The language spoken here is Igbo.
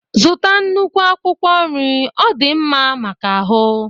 Zụta nnukwu akwụkwọ nri ọ dị mma maka ahụ